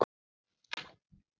Slétt staðið.